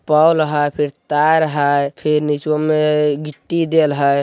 पोल है फिर तार है फिर निचव मे मिट्टी डेल हैं ।